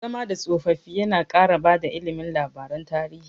Zama da tsofaffi yana ƙara bada ilimi labaran tarihi.